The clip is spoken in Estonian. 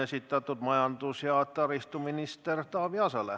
See on majandus- ja taristuminister Taavi Aasale.